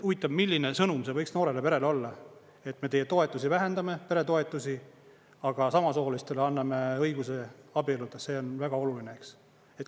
Huvitav, milline sõnum see võiks noorele perele olla, et me teie toetusi vähendame, peretoetusi, aga samasoolistele anname õiguse abielluda, see on väga oluline.